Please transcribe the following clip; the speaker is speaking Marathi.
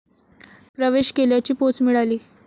प्रवेश केल्याची पोच मिळाली